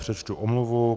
Přečtu omluvu.